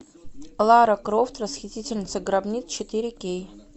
лара крофт расхитительница гробниц четыре кей